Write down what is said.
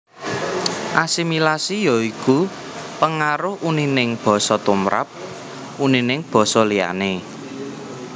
Asimilasi ya iku pengaruh unining basa tumrap unining basa liyané